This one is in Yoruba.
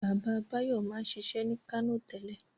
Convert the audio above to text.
Baba Báyọ̀ máa ń ṣiṣẹ́ ní Kánò tẹ́lẹ̀.